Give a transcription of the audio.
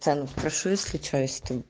цены спрошу если что если ты